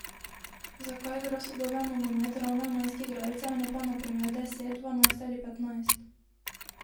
Zakaj igra sodoben nogomet ravno enajst igralcev, ne pa na primer deset, dvanajst ali petnajst?